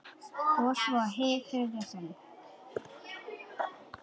Og svo- hið þriðja sinn.